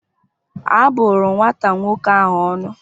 A bụrụ nwata nwoke ahụ ọnụ